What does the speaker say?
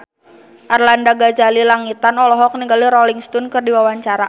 Arlanda Ghazali Langitan olohok ningali Rolling Stone keur diwawancara